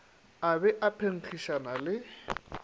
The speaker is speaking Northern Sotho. a be a phenkgišana le